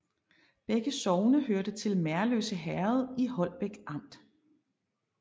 Begge sogne hørte til Merløse Herred i Holbæk Amt